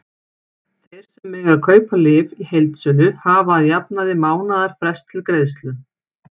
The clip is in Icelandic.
Þeir sem mega kaupa lyf í heildsölu hafa að jafnaði mánaðarfrest til greiðslu.